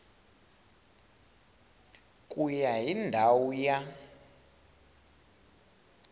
ku ya hi ndhawu ya